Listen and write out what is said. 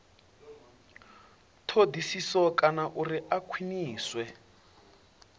thodisiso kana uri a khwiniswe